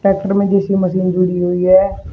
Tractor में जिसी machine जुड़ी हुई है।